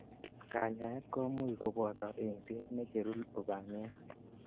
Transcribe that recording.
Kanyaet komuch koboto eng'set necheru lubaniat.